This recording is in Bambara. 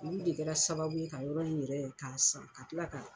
Olu de kɛra sababu ye ka yɔrɔ ni yɛrɛ ye k'a san ka kila ka